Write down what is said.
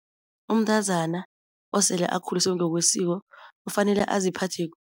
Umntazana osele akhuliswe ngokwesiko kufanele aziphathe